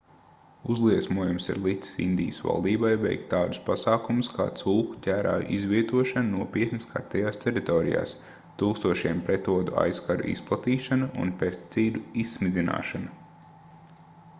uzliesmojums ir licis indijas valdībai veikt tādus pasākumus kā cūku ķērāju izvietošana nopietni skartajās teritorijās tūkstošiem pretodu aizkaru izplatīšana un pesticīdu izsmidzināšana